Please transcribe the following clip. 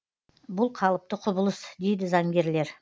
бұл қалыпты құбылыс дейді заңгерлер